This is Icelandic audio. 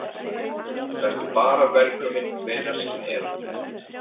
Vertu bara velkominn hvenær sem er.